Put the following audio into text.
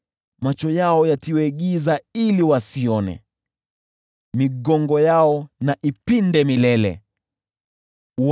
Macho yao yatiwe giza ili wasiweze kuona, nayo migongo yao iinamishwe daima.